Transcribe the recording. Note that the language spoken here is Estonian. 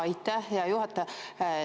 Aitäh, hea juhataja!